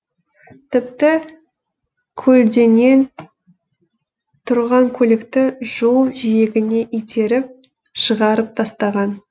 тіпті көлденең тұрған көлікті жол жиегіне итеріп шығарып тастаған